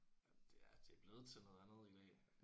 Ja det er det er blevet til noget andet i dag